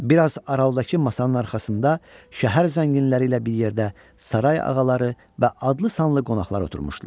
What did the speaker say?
Bir az aralıdakı masanın arxasında şəhər zənginləri ilə bir yerdə saray ağaları və adlı-sanlı qonaqlar oturmuşdular.